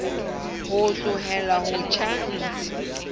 o tlohelle ho tjha ntshi